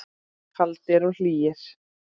Kaldir og hlýir.